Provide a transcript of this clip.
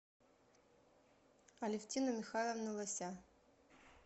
алевтину михайловну лося